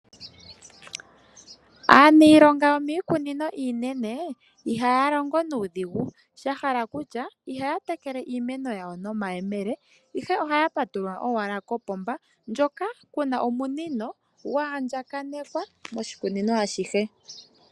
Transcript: Aaniilonga yo miikunino iinene I ha ya longo nuudhigu, sha hala kutya i ha ya tetele iimeno ya wo nomayemele, ihe oha ya patulula owala kopomba ndjoka pu na omunino ngoka gwa andjanekwa koshikunino ashihe.